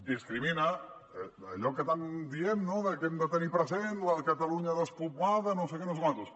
discrimina allò que tant diem no de que hem de tenir present la catalunya despoblada no sé què no sé quantos